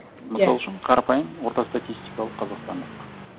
мысал үшін қарапайым орта статистикалық қазақстандық